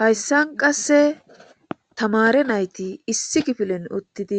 Haysan qase tamare nayt issi kifilen utid